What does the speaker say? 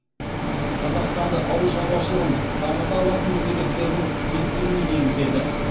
қазақстанды ауыл шаруашылығын дамыта алатын мемлекеттердің бестігіне енгізеді